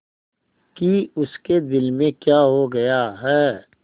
कि उसके दिल में क्या हो गया है